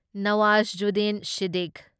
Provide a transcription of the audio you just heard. ꯅꯋꯥꯓꯨꯗꯗꯤꯟ ꯁꯤꯗꯗꯤꯀꯨꯢ